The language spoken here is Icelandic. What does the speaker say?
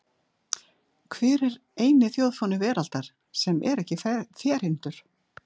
Hver er eini þjóðfáni veraldar sem er ekki ferhyrndur?